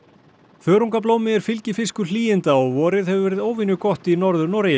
þörungablómi er fylgifiskur hlýinda og vorið hefur verið óvenjugott í Norður Noregi